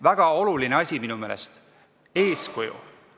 Väga oluline asi minu meelest on eeskuju.